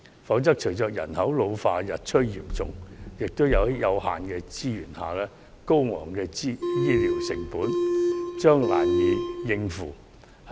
否則，隨着人口老化日趨嚴重，在有限的資源下，醫療成本將越趨高昂，難以應付。